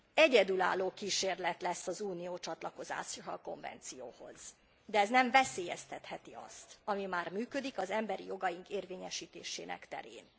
Egyedülálló kísérlet lesz az Unió csatlakozása a konvencióhoz, de ez nem veszélyeztetheti azt, ami már működik az emberi jogaink érvényesítése terén.